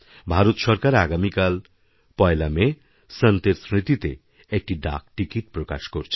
ভারতসরকার আগামীকাল পয়লা মে সন্তের স্মৃতিতে একটি ডাকটিকিট প্রকাশ করছে